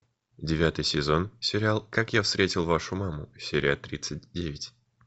девятый сезон сериал как я встретил вашу маму серия тридцать девять